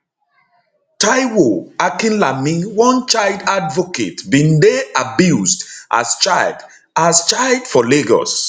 taiwo akinlami one child advocate bin dey abused as child as child for lagos